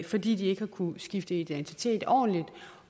fordi de ikke har kunnet skifte identitet ordentligt